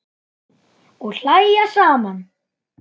Og hlæja saman.